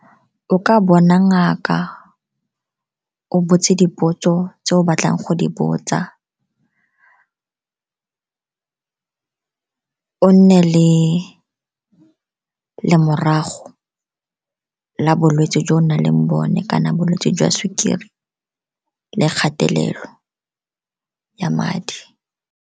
O ka bona ngaka, o botse dipotso tse o batlang go di botsa. O nne le lemorago la bolwetse jo o nang le bone kana bolwetse jwa sukiri le kgatelelo ya madi.